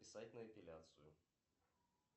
записать на эпиляцию